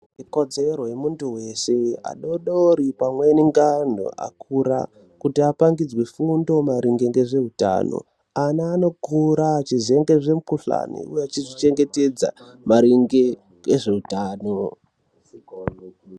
Ikodzero yemuntu wese adoodori pamweni ngenthu akura kuti apangidzwe fundo maringe nezveutano. Ana anokura achiziye mikhuhlani uye achiziva kuzvichengetedza maringe nezveutano